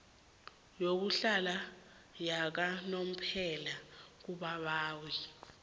yokuhlala yakanomphela kubabawi